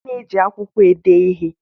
A na-eji akwụkwọ ede ihe.